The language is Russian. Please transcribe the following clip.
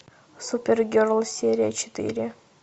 супергерл серия четыре